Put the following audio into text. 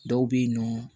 Dɔw bɛ yen nɔ